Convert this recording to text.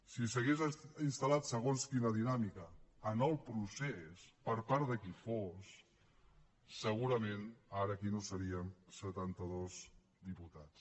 si s’hagués instal·lat segons quina dinàmica en el procés per part de qui fos segurament ara aquí no seríem setantados diputats